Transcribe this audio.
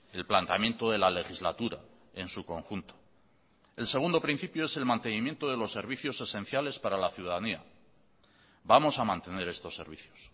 el planteamiento de la legislatura en su conjunto el segundo principio es el mantenimiento de los servicios esenciales para la ciudadanía vamos a mantener estos servicios